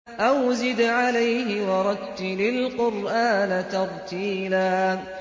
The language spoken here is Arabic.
أَوْ زِدْ عَلَيْهِ وَرَتِّلِ الْقُرْآنَ تَرْتِيلًا